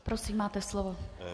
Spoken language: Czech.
Prosím, máte slovo.